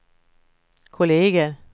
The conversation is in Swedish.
kolleger